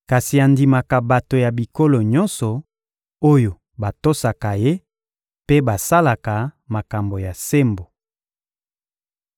kasi andimaka bato ya bikolo nyonso, oyo batosaka Ye mpe basalaka makambo ya sembo.